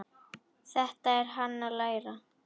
Þetta er hann að læra!